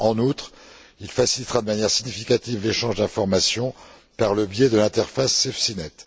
En outre, il facilitera de manière significative l'échange d'informations par le biais de l'interface SafeSeaNet.